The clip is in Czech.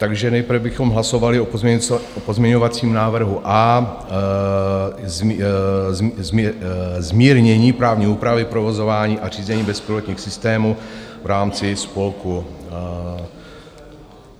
Takže nejprve bychom hlasovali o pozměňovacím návrhu A, zmírnění právní úpravy provozování a řízení bezpilotních systémů v rámci spolků.